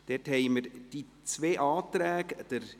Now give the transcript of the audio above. Es liegen zwei Anträge vor: